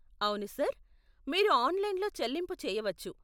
అవును సార్, మీరు ఆన్లైన్లో చెల్లింపు చేయవచ్చు.